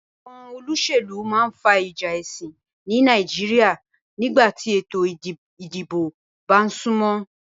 Àwon olósèlú ma n fa ìjà èsìn ni Naijiria nígbàtí ètò ìdibò ba súnmó